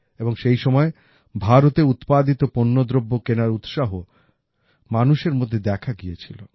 এবং সেই সময় ভারতে উৎপাদিত পণ্যদ্রব্য কেনার উৎসাহ মানুষের মধ্যে দেখা গিয়েছিল